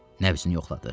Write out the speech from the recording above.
Nəbzini yoxladı.